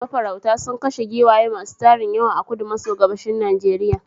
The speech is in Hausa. Mafaurauta sun kashe giwaye masu tarin yawa.a kudu maso gabashin Najeriya.